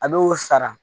A bɛ o sara